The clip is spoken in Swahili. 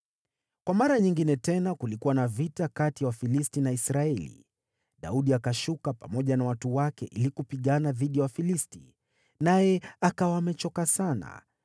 Kwa mara nyingine tena kulikuwa na vita kati ya Wafilisti na Israeli. Daudi akashuka pamoja na watu wake ili kupigana dhidi ya Wafilisti, naye akawa amechoka sana.